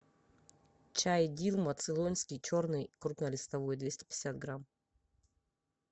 чай дилма цейлонский черный крупнолистовой двести пятьдесят грамм